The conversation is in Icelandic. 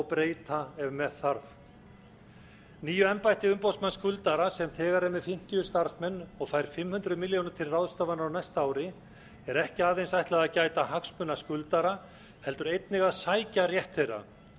breyta ef með þarf nýju embætti umboðsmanna skuldara sem þegar er með fimmtíu starfsmenn og fær fimm hundruð milljónir til ráðstöfunar á næsta ári er ekki aðeins ætla að gæta hagsmuna skuldara heldur einnig að sækja rétt þeirra það